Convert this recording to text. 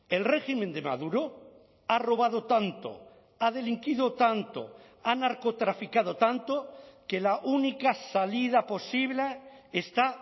el régimen de maduro ha robado tanto ha delinquido tanto ha narcotraficado tanto que la única salida posible está